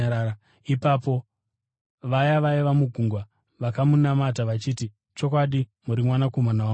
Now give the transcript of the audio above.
Ipapo vaya vaiva mugwa vakamunamata vachiti, “Chokwadi muri Mwanakomana waMwari.”